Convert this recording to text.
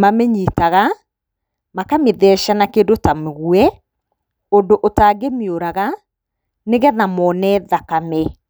Mamĩnyitaga, makamĩtheca na kĩndũ ta mũguĩ, ũndũ ũtangĩmĩũraga nĩ getha moone thakame.